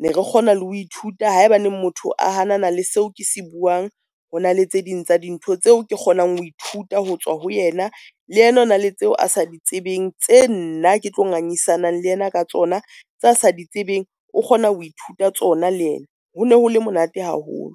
Ne re kgona le ho ithuta haeba neng motho a hanana le seo ke se buang. Ho na le tse ding tsa dintho tseo ke kgonang ho ithuta ho tswa ho yena. Le yena o na le tseo a sa di tsebeng tse nna ke tlo ngangisanang le yena ka tsona tse a sa di tsebeng, o kgona ho ithuta tsona le yena. Ho ne hole monate haholo.